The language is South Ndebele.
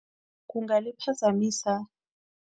Kungaliphazamisa.